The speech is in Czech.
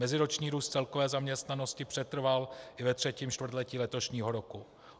Meziroční růst celkové zaměstnanosti přetrval i ve třetím čtvrtletí letošního roku.